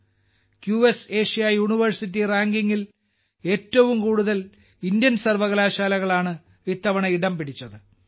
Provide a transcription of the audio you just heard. QS Asia university റാങ്കിങ്ങിൽ ഏറ്റവും കൂടുതൽ ഇന്ത്യൻ സർവകലാശാലകളാണ് ഇത്തവണ ഇടംപിടിച്ചത്